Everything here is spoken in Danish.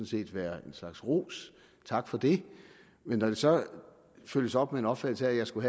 set være en slags ros og tak for det men når det så følges op med en opfattelse af at jeg skulle